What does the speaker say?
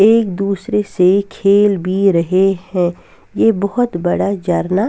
एक दूसरे से खेल भी रहे हैं ये बहुत बड़ा जरना --